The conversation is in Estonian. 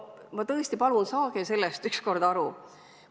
Ma tõesti palun, saage sellest ükskord aru!